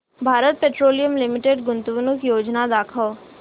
Bharat Petroleum Limited गुंतवणूक योजना दाखव